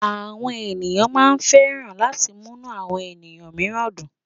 Àwọn ènìyàn máa ń ṣẹ̀fẹ̀ láti múnú àwọn ènìyàn mìíràn dùn.